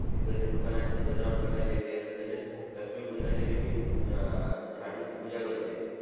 आणि तसेच घरांची दुकानांची सजावट करण्यात येते आणि तसेच लक्ष्मी पूजनाच्या दिवशी ए झाडू ची पूजा करते